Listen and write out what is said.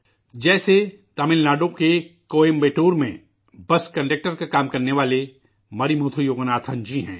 جیسے، تمل ناڈو کے کوئمبٹور میں بس کنڈکٹر کا کام کرنے والے مرمتھو یوگناتھن جی ہیں